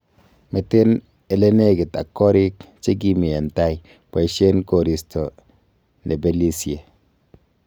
Meten ele nekit ak goriik chekimi en tai, boishen koriisto nebelisie.